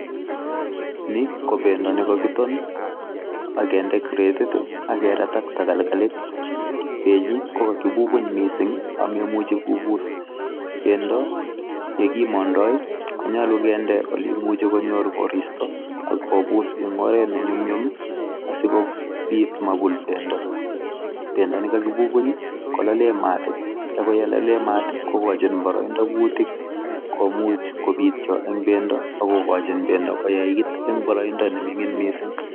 Ni kobendo nekakiton akende kretit akerat ak tagalgalit. Benyi kokakibubuny miising' amemuchi kobuus, bendo yekimandai konyolu keende oleimuchi konyor koristo akobuus ing' oret nenyumnyum asikobiit mabul bendo. bendo nekakibubuny kolale maat akoyekalaale maat kogochin boroindo kuutik komuuch kobiityo ing' bendo akokochin bendo koyait ing' boroindo nemining' miising'